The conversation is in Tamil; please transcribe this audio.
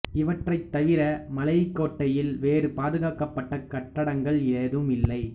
இவற்றைத் தவிர மலைக் கோட்டையில் வேறு பாதுகாக்கப்பட்ட கட்டடங்கள் ஏதுமில்லை